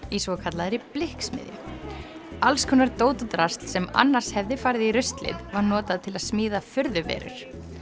í svokallaðri blikksmiðju allskonar dót og drasl sem annars hefði farið í ruslið var notað til að smíða furðuverur